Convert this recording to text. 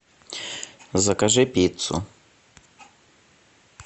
закажи пиццу